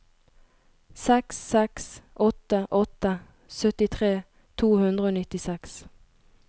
seks seks åtte åtte syttitre to hundre og nittiseks